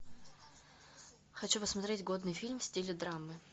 хочу посмотреть годный фильм в стиле драмы